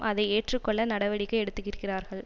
அதை ஏற்றுக்கொள்ள நடவடிக்கை எடுத்திருக்கிறார்கள்